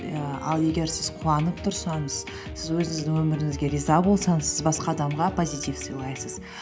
ііі ал егер сіз қуанып тұрсаңыз сіз өзіңіздің өміріңізге риза болсаңыз сіз басқа адамға позитив сыйлайсыз